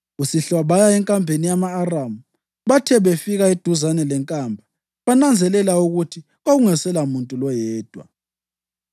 Kusihlwa baya enkambeni yama-Aramu. Bathe befika eduzane lenkamba, bananzelela ukuthi kwakungaselamuntu loyedwa,